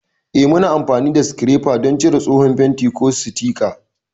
Eh, muna amfani da sikirefa don cire tsohon fenti, ko sitika.